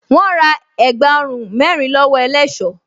Wọ́́n ra ẹ̀gbá ọrùn mẹ́rin lọ́wọ́ ẹlẹṣọ́